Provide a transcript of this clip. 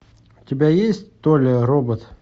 у тебя есть толя робот